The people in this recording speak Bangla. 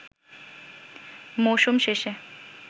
মৌসুম শেষে